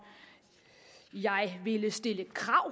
jeg ville stille et krav